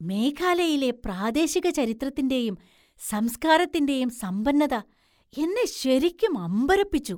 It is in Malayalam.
മേഘാലയയിലെ പ്രാദേശിക ചരിത്രത്തിന്‍റെയും സംസ്കാരത്തിന്‍റെയും സമ്പന്നത എന്നെ ശരിക്കും അമ്പരപ്പിച്ചു.